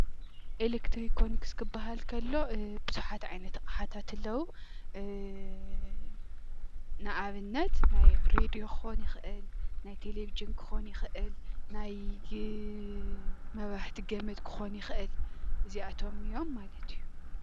ኤለክትሮኮኒክስ ክበሃል ከሎ ብዙሓት ዓይነት ኣቅሓታት ኣለዉ። ንኣብነት ናይ ሬድዮ ክኮን ይክእል፣ ናይ ቴለቭዥን ክኮን ይክእል፣ ናይ መብራህቲ ገመድ ክኮን ይክእል፣ እዚኣቶም እዮም ማለት እዩ።